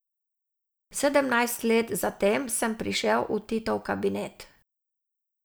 Sedemnajst let zatem sem prišel v Titov kabinet.